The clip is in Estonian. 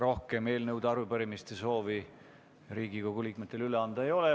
Rohkem Riigikogu liikmetel eelnõude ja arupärimiste üleandmise soovi ei ole.